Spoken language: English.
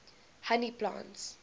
honey plants